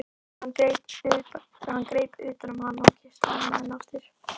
Hann greip utan um hana og kyssti hana enn aftur.